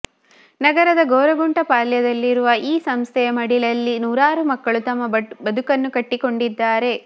ನಗರದ ಗೊರಗುಂಟೆಪಾಳ್ಯದಲ್ಲಿರುವ ಈ ಸಂಸ್ಥೆಯ ಮಡಿಲಲ್ಲಿ ನೂರಾರು ಮಕ್ಕಳು ತಮ್ಮ ಬದುಕನ್ನು ಕಟ್ಟಿಕೊಂಡಿದ್ದಾರೆ